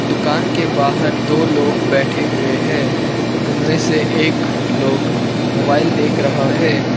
दुकान के बाहर दो लोग बैठे हुए हैं उनमें से एक लोग मोबाइल देख रहा है।